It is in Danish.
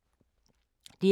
DR K